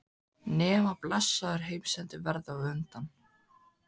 Nema blessaður heimsendir verði á undan.